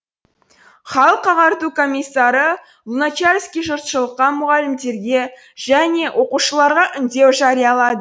халық ағарту комиссары луначарский жұртшылыққа мұғалімдерге және оқушыларға үндеу жариялады